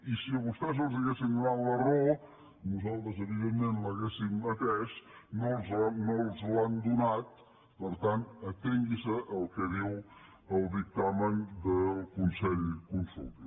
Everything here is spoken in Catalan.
i si a vostès els haguessin donat la raó nosaltres evidentment l’hauríem atès no els l’han donada per tant atengui’s al que diu el dictamen del consell consultiu